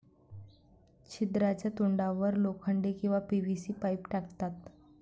छिद्राच्या तोंडावर लोखंडी किंवा पीव्हीसी पाईप टाकतात.